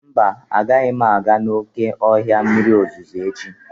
Mba, agaghị m aga n'oké ọhịa mmiri ozuzo echi.